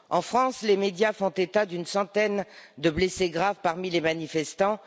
En France, les médias font état d'une centaine de blessés graves parmi les manifestants.